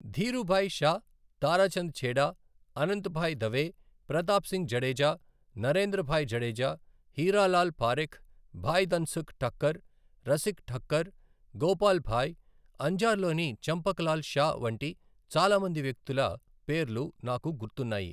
ధీరూభాయ్ షా, తారాచంద్ ఛేడా, అనంత్భాయ్ దవే, ప్రతాప్ సింగ్ జడేజా, నరేంద్ర భాయ్ జడేజా, హీరా లాల్ పారిఖ్, భాయ్ ధన్సుఖ్ ఠక్కర్, రసిక్ ఠక్కర్, గోపాల్ భాయ్, అంజార్లోని చంపక్ లాల్ షా వంటి చాలా మంది వ్యక్తుల పేర్లు నాకు గుర్తున్నాయి.